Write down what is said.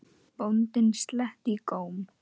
Bóndinn sletti í góm.